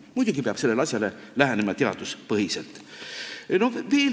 Muidugi peab sellele asjale lähenema teaduspõhiselt.